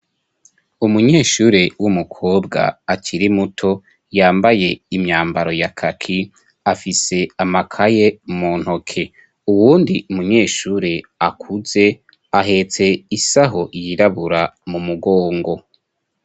Umunyeshure w'umukobwa akiri muto yambaye imyambaro ya kaki afise amakaye mu ntoke uwundi umunyeshure akuze ahetse isaho yirabura mu mugongo.